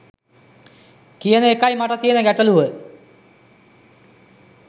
කියන එකයි මට තියන ගැටළුව